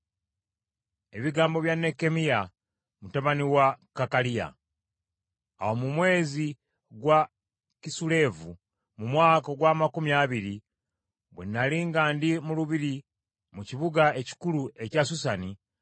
Ebigambo bya Nekkemiya mutabani wa Kakaliya: Awo mu mwezi gwa Kisuleevu mu mwaka ogw’amakumi abiri bwe nnali nga ndi mu lubiri mu kibuga ekikulu ekya Susani,